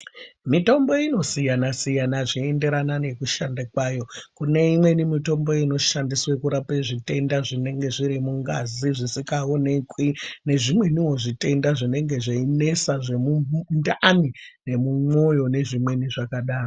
Mitombo inosiyana-siyana zveienderana nekushanda kwayo. Kune imweni mitombo inoshandiswe kurape zvitenda zvinenge zviri mungazi zvisikaonekwi nezvimweniwo zvitenda zvinenge zveinesa zvemundani nemumwoyo nezvimweni zvakadaro.